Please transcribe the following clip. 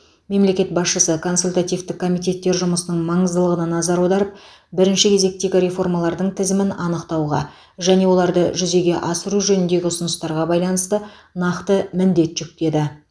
мемлекет басшысы консультативтік комитеттер жұмысының маңыздылығына назар аударып бірінші кезектегі реформалардың тізімін анықтауға және оларды жүзеге асыру жөніндегі ұсыныстарға байланысты нақты міндет жүктеді